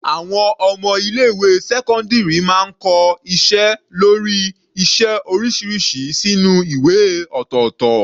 Àwọn ọmọ ilé ìwé sẹ́cọ́ndírì máa ń kọ iṣẹ́ lórí iṣẹ́ oríṣiríṣi sínú ìwé ọ̀tọ̀ọ̀tọ̀.